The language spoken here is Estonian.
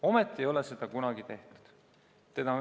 Ometi ei ole seda kunagi tehtud.